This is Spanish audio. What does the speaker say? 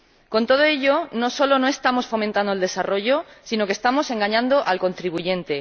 Con todo ello no solo no estamos fomentando el desarrollo, sino que estamos engañando al contribuyente.